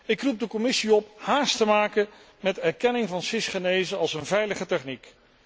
Ik roep de Commissie op haast te maken met de erkenning van cisgenese als een veilige techniek.